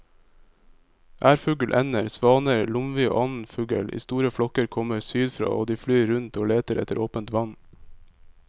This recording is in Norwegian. Ærfugl, ender, svaner, lomvi og annen fugl i store flokker kommer sydfra og de flyr rundt og leter etter åpent vann.